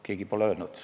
Keegi pole seda öelnudki.